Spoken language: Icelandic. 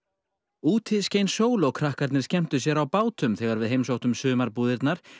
úti skein sól og krakkarnir skemmtu sér á bátum þegar við heimsóttum sumarbúðirnar